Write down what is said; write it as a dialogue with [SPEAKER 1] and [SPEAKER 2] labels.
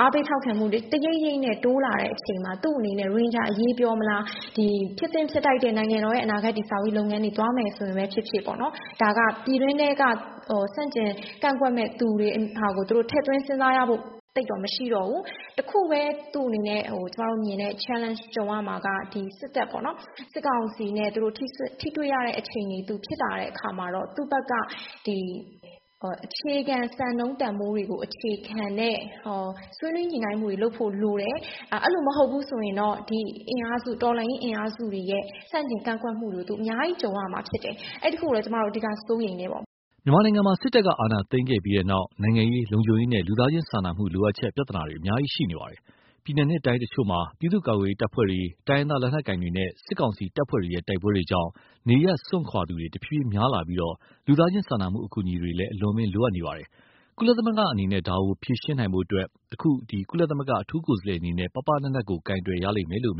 [SPEAKER 1] အားပေးထောက်ခံမှုတွေ တရိပ်ရိပ်နဲ့ တိုးလာတဲ့အချိန်မှာ သူ့အနေနဲ့ ရိုဟင်ဂျာအရေးပြောမလား၊ ဖြစ်သင့်ဖြစ်ထိုက်တဲ့ နိုင်ငံတော်တည်ဆောက်ရေးလုပ်ငန်းတွေ သွားမယ်ဆိုရင် ဖြစ်ဖြစ်ပေါ့နော်။ ဒါက ပြည်တွင်းထဲက ဆန့်ကျင်ကန့်ကွက်မယ့် သူတွေဟာကို ထည့်သွင်းစဉ်းစားရဖို့ သိပ်တော့ မရှိတော့ဘူး၊ တခုပဲ သူ့အနေနဲ့နဲ့ ကျမတို့မြင်တဲ့ Challenge ကြုံရမှာက ဒီစစ်တပ်ပေါ့နော်- စစ်ကောင်စီနဲ့ ထိတွေ့ရတဲ့အခြေအနေ ဖြစ်လာတဲ့အခါမှာ သူ့ဘက်က အခြေခံစံနှုန်းတန်ဖိုးတွေကို အခြေခံတဲ့ ဆွေးနွေးညှိနှိုင်းမှုတွေကို လုပ်ဖို့လိုတယ်။ အဲလိုမဟုတ်ဘူးဆိုရင် ဒီတော်လှန်ရေးအင်အားစုတွေရဲ့ ဆန့်ကျင်ကန့်ကွက်မှုတွေကို သူအများကြီး ကြုံရမှာဖြစ်တယ်။ အဲဒီတခုကိုတော့ ကျမတို့အဓိက စိုးရိမ်တယ
[SPEAKER 2] ်ပေါ့။” မြန်မာနိုင်ငံမှာ စစ်တပ်အာဏာသိမ်းခဲ့ပြီးနောက် နိုင်ငံရေး၊ လုံခြုံရေးနဲ့ လူသားချင်းစာနာမှု လိုအပ်ချက် ပြဿနာတွေ အများကြီးရှိနေပါတယ်။ ပြည်နယ်နဲ့တိုင်းတချို့မှာ ပြည်သူ့ကာကွယ်ရေးတပ်ဖွဲ့တွေ၊ တိုင်းရင်းသားလက်နက်ကိုင်တွေနဲ့ စစ်ကောင်စီတပ်ဖွဲ့တွေရဲ့ တိုက်ပွဲတွေကြောင့် နေရပ်စွန့်ခွာသူတွေ တဖြည်းဖြည်းများလာပြီး လူသားချင်းစာနာမှု အကူအညီတွေ အလွန်အမင်း လိုအပ်နေပါတယ်။ ကုလအနေနဲ့ ဒါတွေကို ဖြေရှင်း ကူညီနိုင်ဖို့အတွက် အခု ခန့်အပ်လိုက်တဲ့ ကုလသမဂ္ဂ အထူးကိုယ်စားလှယ်အနေနဲ့ ပါးပါးနပ်နပ် ကိုင်တွယ်ရလိမ့်မယ်လို့ မြ